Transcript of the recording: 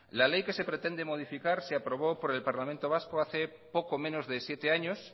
la ley que se pretende modificar se aprobó por el parlamento vasco hace poco menos de siete años